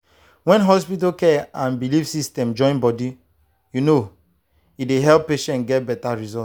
when hospital care and belief system join body you know e dey help patients get better result.